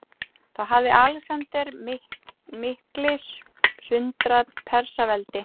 Þá hafði Alexander mikli sundrað Persaveldi.